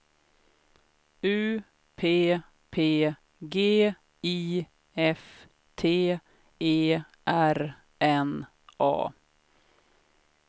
U P P G I F T E R N A